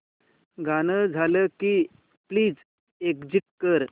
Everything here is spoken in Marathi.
गाणं झालं की प्लीज एग्झिट कर